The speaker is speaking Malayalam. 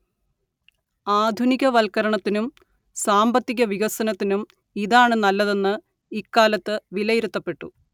ആധുനികവൽക്കരണത്തിനും സാമ്പത്തികവികസനത്തിനും ഇതാണ് നല്ലതെന്ന് ഇക്കാലത്ത് വിലയിരുത്തപ്പെട്ടു